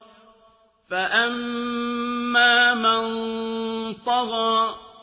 فَأَمَّا مَن طَغَىٰ